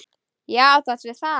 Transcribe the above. Já, þú átt við það!